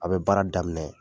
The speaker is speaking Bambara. A bɛ baara daminɛ.